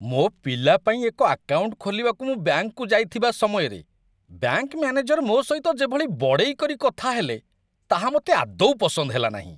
ମୋ ପିଲା ପାଇଁ ଏକ ଆକାଉଣ୍ଟ ଖୋଲିବାକୁ ମୁଁ ବ୍ୟାଙ୍କକୁ ଯାଇଥିବା ସମୟରେ, ବ୍ୟାଙ୍କ ମ୍ୟାନେଜର ମୋ ସହିତ ଯେଭଳି ବଡ଼େଇ କରି କଥା ହେଲେ, ତାହା ମୋତେ ଆଦୌ ପସନ୍ଦ ହେଲାନାହିଁ।